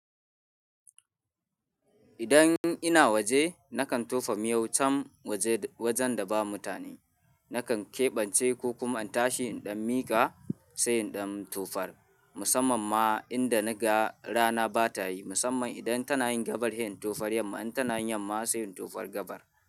Idan ina waje, nakan tofa miyau can waje wajen da ba mutane. Nakan keɓance ko kuma an tashi inɗan miƙa, sai inɗan tufar. Musamman ma inda naga rana ba ta yi. Musamman idan tana yin gabar, sai in tufar yamma. In tana yin yamma sai in tufar gabar.